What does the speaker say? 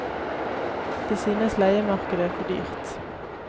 De synes leiemarkedet er for dyrt.